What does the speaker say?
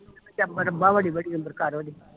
ਕਰ ਓਹਦੇ